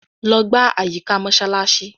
Logbà àyíkà Mósálàsí.